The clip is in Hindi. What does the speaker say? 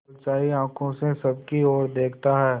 ललचाई आँखों से सबकी और देखता है